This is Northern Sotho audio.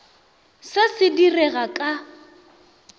se se di rega ka